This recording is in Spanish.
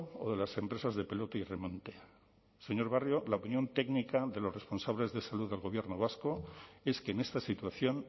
o de las empresas de pelota y remonte señor barrio la opinión técnica de los responsables de salud del gobierno vasco es que en esta situación